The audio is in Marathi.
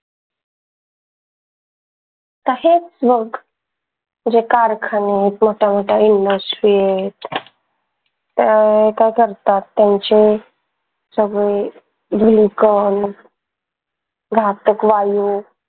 तशाच बघ जे कारखाने मोठ्या मोठा industries अह काय करतात त्यांचे सगळे घातक वायू